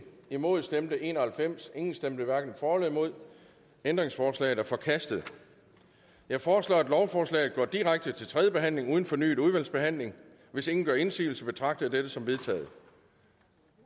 imod stemte en og halvfems ingen stemte hverken for eller imod ændringsforslaget er forkastet jeg foreslår at lovforslaget går direkte til tredje behandling uden fornyet udvalgsbehandling hvis ingen gør indsigelse betragter jeg dette som vedtaget